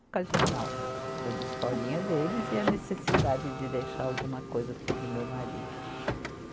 ocasional, das historinha deles e a necessidade de deixar alguma coisa sobre meu marido.